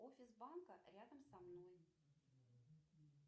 офис банка рядом со мной